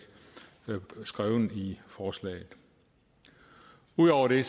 skrevet i forslaget ud over det